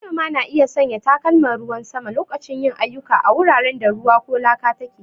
Manoma na iya sanya takalman ruwan sama lokacin yin ayyuka a wuraren da ruwa ko laka take.